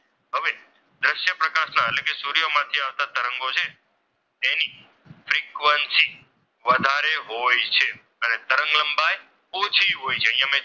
Frequency વધારે હોય છે. અને તરંગ લંબાઈ ઓછી હોય છે. અહીંયા,